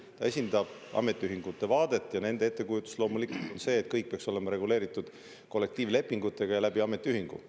Ta esindab ametiühingute vaadet ja nende ettekujutus on loomulikult selline, et kõik peaks olema reguleeritud kollektiivlepingutega ja ametiühingu kaudu.